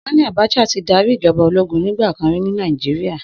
Sani Abacha ti dàrí ijòbá ólógùn nigbàkán ri ni Nàijiriá